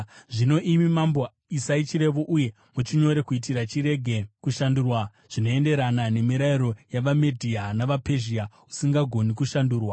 Zvino, imi mambo isai chirevo uye muchinyore kuitira chirege kushandurwa zvinoenderana nemirayiro yavaMedhia navaPezhia, usingagoni kushandurwa.”